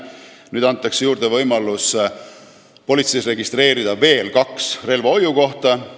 Nüüd antakse juurde võimalus registreerida politseis veel kaks relvahoiukohta.